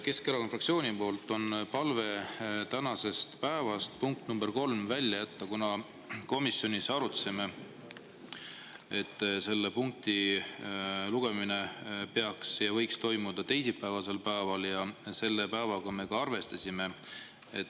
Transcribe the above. Keskerakonna fraktsiooni palve on tänasest päevast punkt number kolm välja jätta, kuna me komisjonis arutasime, et selle punkti lugemine peaks toimuma ja võiks toimuda teisipäevasel päeval, ja selle päevaga me ka arvestasime.